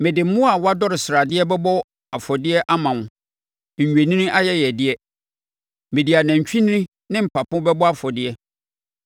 Mede mmoa a wɔadɔ sradeɛ bɛbɔ afɔdeɛ ama wo nnwennini ayɛyɛdeɛ; mede anantwinini ne mpapo bɛbɔ afɔdeɛ.